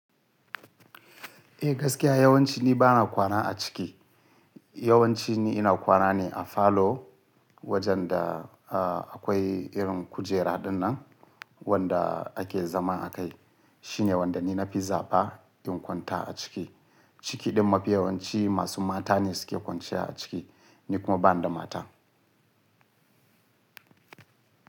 Eh gaskiya yawanci ni bana kwana a ciki. Yawanci ni ina kwana ne a falo wajen da akwai irin kujera ɗinnan wanda ake zama a kai. Shine wanda ni na fi zaɓa in kwanta a ciki. Ciki ɗin mafi yawanci masu mata ne suke kwanciya a ciki, ni kuma bani da mata.